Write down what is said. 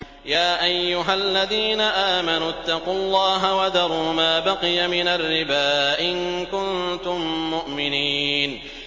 يَا أَيُّهَا الَّذِينَ آمَنُوا اتَّقُوا اللَّهَ وَذَرُوا مَا بَقِيَ مِنَ الرِّبَا إِن كُنتُم مُّؤْمِنِينَ